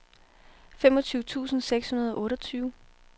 femogtyve tusind seks hundrede og otteogtyve